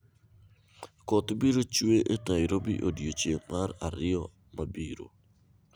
Koth biro chwe e Nairobi odiechieng' mar ariyo mabiro